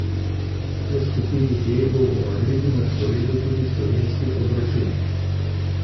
V skupini D bo v Madridu na sporedu tudi slovenski obračun.